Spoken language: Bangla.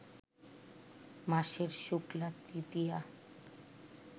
মাসের শুক্লা তৃতীয়া